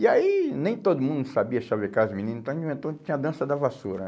E aí nem todo mundo sabia xavecar as menina, então a gente inventou de ter a dança da vassoura.